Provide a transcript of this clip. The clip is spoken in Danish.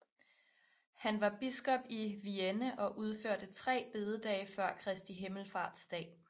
Han var biskop i Vienne og indførte tre bededage før Kristi Himmelfartsdag